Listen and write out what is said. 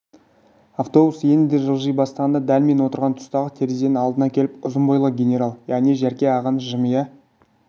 автобус енді жылжи бастағанда дәл мен отырған тұстағы терезенің алдына келіп ұзын бойлы генерал яғни жәрке ағамыз жымия